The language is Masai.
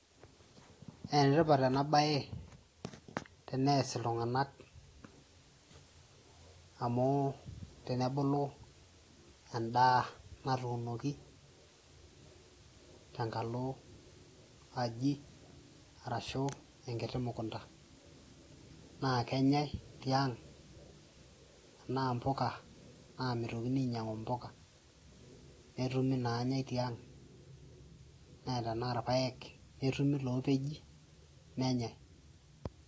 enetipat ena baye tenees iltung'anak amu tenebulu endaa natunoki tenkalo aji arashu enkiti mukunta naa kenyae tiang tenaa mpuka naa mitokini ainyiang'u impuka netumi nanyae tiang naa tenaa irpayek netumi ilopeji nenyae.